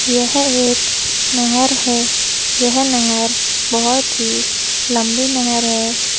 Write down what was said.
यह एक नहर है यह नहर बहोत ही लम्बी नहर है।